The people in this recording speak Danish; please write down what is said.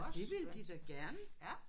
Og det ville de da gerne